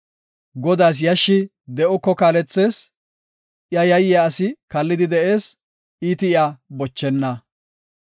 Godaas yashshi de7oko kaalethees; iya yayiya asi kallidi de7ees; iiti iya bochenna.